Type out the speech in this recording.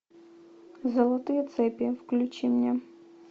золотые цепи включи мне